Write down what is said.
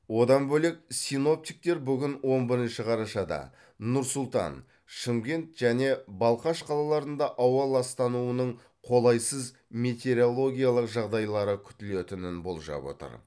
одан бөлек синоптиктер бүгін он бірінші қарашада нұр сұлтан шымкент және балқаш қалаларында ауа ластануының қолайсыз метеорологиялық жағдайлары күтілетінін болжап отыр